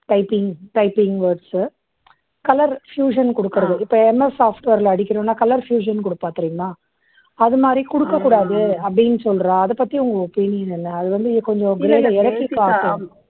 typing typing words color fusion குடுக்கறது. இப்போ என்ன software ல அடிக்கணும்னா color fusion குடுப்பாங்க தெரியுமா? அதை மாதிரி குடுக்கக் கூடாது அப்பிடீன்னு சொல்றா. அதை பத்தி உங்க opinion என்ன? அது வந்து கொஞ்சம் விளக்கி காட்டுது.